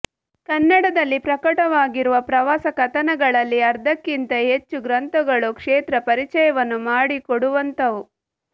ಕನ್ನಡದಲ್ಲಿ ಪ್ರಕಟವಾಗಿರುವ ಪ್ರವಾಸ ಕಥನಗಳಲ್ಲಿ ಅರ್ಧಕ್ಕಿಂತ ಹೆಚ್ಚು ಗ್ರಂಥಗಳು ಕ್ಷೇತ್ರ ಪರಿಚಯವನ್ನು ಮಾಡಿ ಕೊಡುವಂಥವು